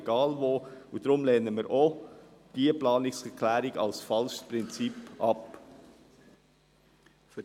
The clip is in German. Aus diesem Grund lehnen wir auch diese Planungserklärung als falsches Prinzip ab.